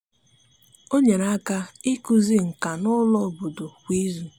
ọ nyere aka ikuzi nka n'ulo obodo kwa ịzụ